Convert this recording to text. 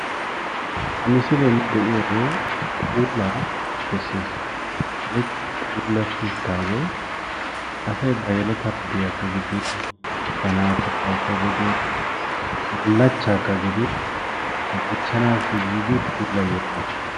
Ha misiliyan nu be'iyoogee puulaa besees, woykko puulatti utaagee asay ba yeletaa wodiyakka gidin ba naaatugaakka gidin bulachakka gidin bonchanaasi puulayiyoogaa.